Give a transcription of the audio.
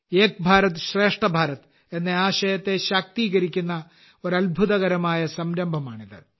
ഏക് ഭാരത് ശ്രേഷ്ഠ ഭാരത് എന്ന ആശയത്തെ ശാക്തീകരിക്കുന്ന ഒരു അത്ഭുതകരമായ സംരംഭമാണിത്